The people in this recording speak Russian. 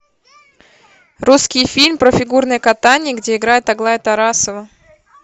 русский фильм про фигурное катание где играет аглая тарасова